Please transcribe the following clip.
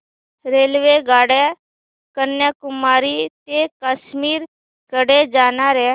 रेल्वेगाड्या कन्याकुमारी ते काश्मीर कडे जाणाऱ्या